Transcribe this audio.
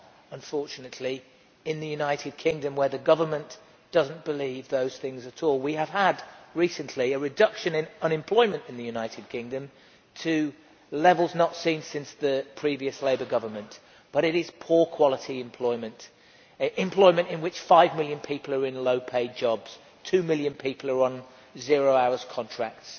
unfortunately, in the United Kingdom, where the government does not believe those things at all. We have recently had a reduction in unemployment in the United Kingdom to levels not seen since the previous Labour government, but it is poor quality employment, employment in which five million people are in low paid jobs. Two million people are on zero hour contracts.